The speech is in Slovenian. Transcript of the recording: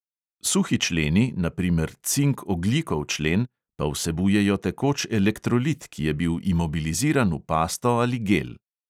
Suhi členi, na primer cink-ogljikov člen, pa vsebujejo tekoč elektrolit, ki je bil imobiliziran v pasto ali gel.